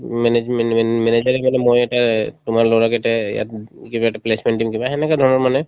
management মানে মই এটা এ তোমাৰ লৰাকেইটাই ইয়াত উব কিবা এটা placement দিম কিবা সেনেকা ধৰণৰ মানে